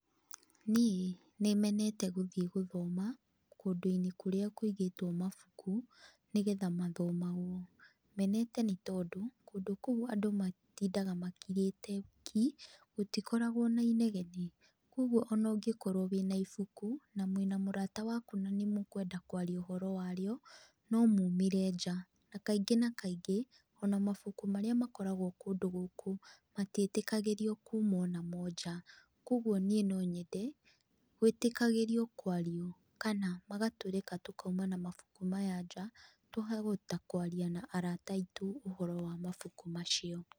Niĩ nĩ menete gũthiĩ gũthoma, kũũndũinĩ kũrĩa kũigĩtwo mabuku, nĩgetha mathomagwo. Menete nĩ tondũ, kũndũ kũu andũ matindaga makirĩte ki, gũtikoragwo na inegene. Koguo ona ũngĩkorwo wĩna ibuku na mwĩna mũrata waku na nĩ mũkwenda kwaria ũhoro wa rĩo, no mumire njaa, na kaingĩ na kaingĩ ona mabuku marĩa makoragwo kũndũ gũkũ, matiĩtĩkagĩrio kuumwo namo njaa. Koguo niĩ no nyende, gwĩtĩkagĩrio kwario kana magatũreka tũkauma na mabuku maya njaa, tũkahota kwaria na arata aitũ ũhoro wa mabuku macio.